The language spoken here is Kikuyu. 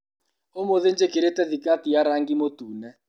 ũmũthĩ njĩkĩrĩte thikati ya rangi mũtune.